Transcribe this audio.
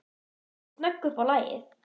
Hún er snögg upp á lagið.